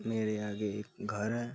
मेरे आगे एक घर है।